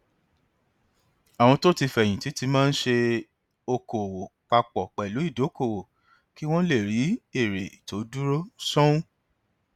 àwọn tó ti fẹyìn tì máa ń ṣe okòwò pa pọ pẹlú ìdókòwò kí wọn lè rí èrè tó dúró sánún